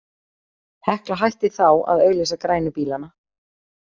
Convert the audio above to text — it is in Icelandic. Hekla hætti þá að auglýsa grænu bílana.